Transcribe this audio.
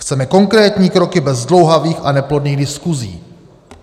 Chceme konkrétní kroky bez zdlouhavých a neplodných diskuzí.